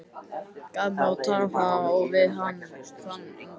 Gaf mig á tal við þann yngri.